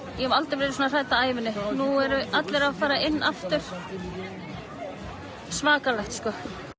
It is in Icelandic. ég hef aldrei verið svona hrædd á ævi minni nú eru allir að fara inn aftur svakalegt sko